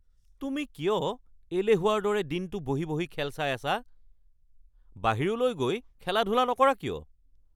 তুমি কিয় এলেহুৱাৰ দৰে দিনটো বহি বহি খেল চাই আছা? বাহিৰলৈ গৈ খেলা-ধূলা নকৰা কিয়?